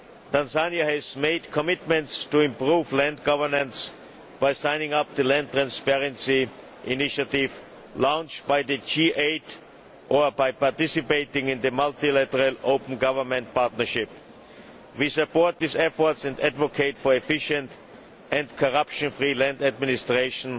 Tanzania has made commitments to improve land governance by signing up to the land transparency initiative launched by the G8 or by participating in the multilateral Open Government Partnership. We support these efforts and advocate for efficient and corruption-free land administration